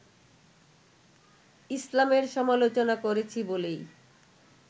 ইসলামের সমালোচনা করেছি বলেই